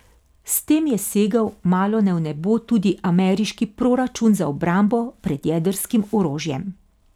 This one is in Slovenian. S tem je segel malone v nebo tudi ameriški proračun za obrambo pred jedrskim orožjem.